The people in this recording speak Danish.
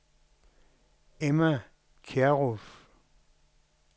Emma Kjærulff